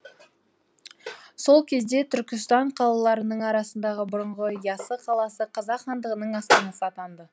сол кезде түркістан қалаларының арасындағы бұрынғы ясы қаласы қазақ хандығының астанасы атанды